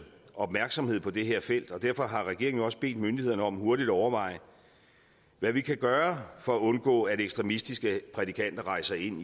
opmærksomhed på det her felt og derfor har regeringen også bedt myndighederne om hurtigt at overveje hvad vi kan gøre for at undgå at ekstremistiske prædikanter rejser ind